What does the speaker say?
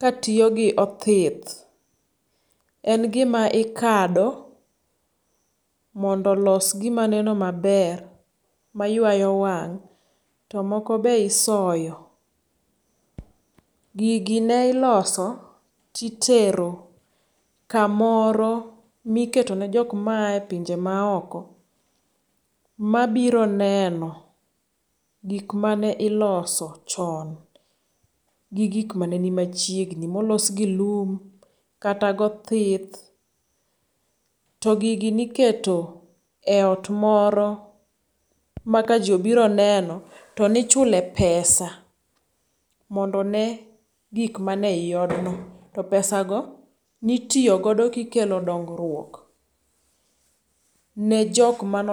ka tiyogi othith. En gima ikado mondo olos gima neno maber maywayo wang' to moko be isoyo. Gigi ne iloso ti tero kamoro miketo ne jok mae epinje maok mabiro neno gik mane iloso chon gigik maneni machiegni molos gi lum, kata gothith. To gigi niketo eot moro ma kaji obiro neno to ni chule epesa mondo one gik mane iodno. To pesago ni tiyo godo kikelo dongruok ne jok mano